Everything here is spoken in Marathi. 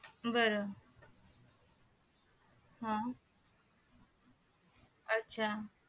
बर हा अच्चा